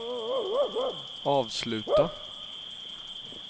avsluta